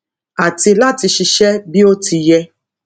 àti láti ṣiṣẹ bí ó ti yẹ